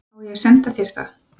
Á ég að senda þér það?